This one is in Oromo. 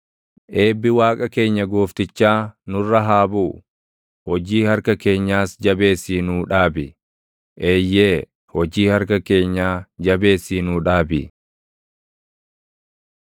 Eebbi Waaqa keenya Gooftichaa nurra haa buʼu; hojii harka keenyaas jabeessii nuu dhaabi; eeyyee, hojii harka keenyaa jabeessii nuu dhaabi.